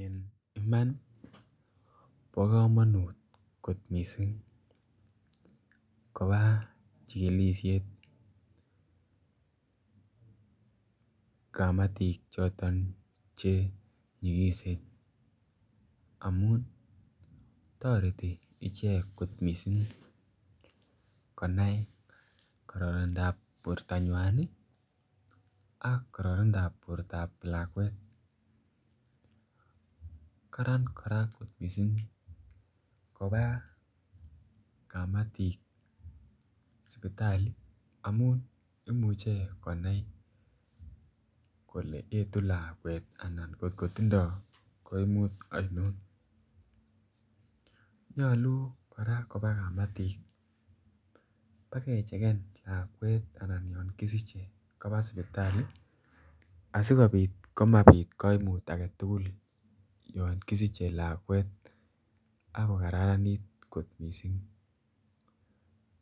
En iman ii bo komonut kot missing kobaa chigilishet kamatik choton che nyigisen amun toreti ichek kot missing konai kororonindap bortanywan ii ak kororonindap bortap lakwet, Karan koraa kot missing kobaa kamatik sipitali amun imuche konai kole etu lakwet ana kot kotindo koimutik oinon. Nyoluu koraa koba kamatik bakecheken lakwet anan yon kisiche kobaa sipitali asikopit komapit koimut agetugul yon kisiche lakwet ak ko kararanit kot missing.